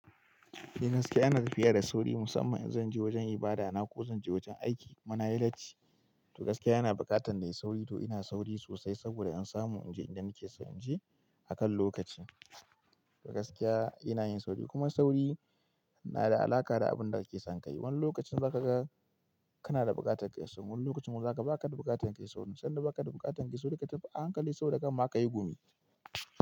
Ni gaskiya, ina tafiya da sauri musamman in zan je wajen ibada na ko zan je wajen aiki. Kuma nayi late, toh ina gaskiya ina buƙatan na yi sauri toh ina sauri sosai saboda in samu in je inda nake so in je akan lokaci. Gaskiya ina yin sauri kuma sauri na da alaƙa da abin da kake son ka yi. Wani lokacin za ka ga kana da buƙatar ka yi sauri, wani lokacin kuma za ka ga ba ka da buƙatar ka yi sauri. Sanda ba ka da buƙatar ka yi sauri, ka tafi a hankali sau da kan ma ka yi gumi.